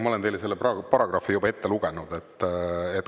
Ma olen teile selle paragrahvi juba ette lugenud.